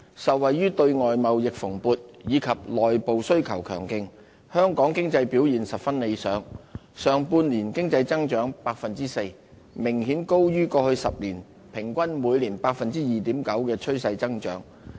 受惠於對外貿易蓬勃，以及內部需求強勁，香港經濟表現十分理想，上半年經濟增長 4%， 明顯高於過去10年平均每年 2.9% 的趨勢增長。